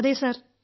അതെ സർ